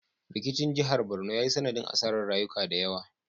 Rikicin jihar Barno ya yi sanadin asarar rayuka da yawa